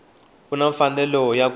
u na mfanelo ya ku